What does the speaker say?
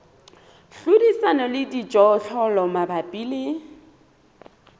hlodisana le dijothollo mabapi le